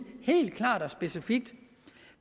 helt klart og specifikt